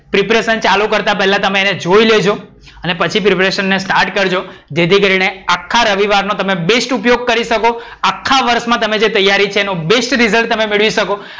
preparation ચાલુ કરતાં પેલ્લા તમે એને એકવાર જોઈ લેજો. અને પછી preparation start કરજો. જેથી કરીને આખા રવિવારનો તમે બેસ્ટ ઉપયોગ કરી શકો. આખા વર્ષ માં તમે જે તૈયારી છે એનું બેસ્ટ result તમે મેળવી શકો.